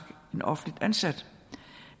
en offentligt ansat